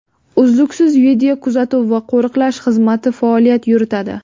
Uzluksiz videokuzatuv va qo‘riqlash xizmati faoliyat yuritadi.